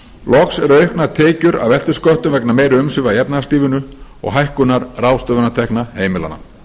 loks eru auknar tekjur af eftirsköttum vegna meiri umsvifa í efnahagslífinu og hækkunar ráðstöfunartekna heimilanna